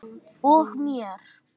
Og mér.